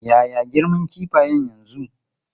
Ya ya girman kifayen yanzu?